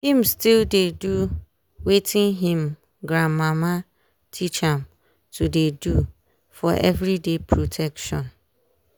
him still dey do watin him gran mama teach am to dey do for every day protection